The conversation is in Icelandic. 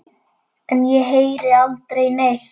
En ég heyri aldrei neitt.